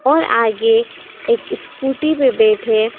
और आगे एक स्कूटी पे बैठे--